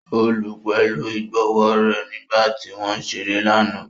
O lù u pẹlu igbonwo rẹ nigba ti wọn ǹ ṣere lana.